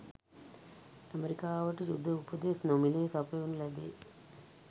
ඇමරිකාවට යුධ උපදෙස් නොමිලේ සපයනු ලැබේ